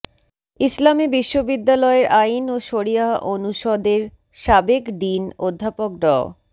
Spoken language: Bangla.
ইসলামী বিশ্ববিদ্যালয়ের আইন ও শরীয়াহ অনুষদের সাবেক ডিন অধ্যাপক ড